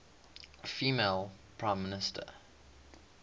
female prime minister